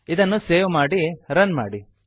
ಇದನ್ನು ಸೇವ್ ಮಾಡಿ ರನ್ ಮಾಡಿ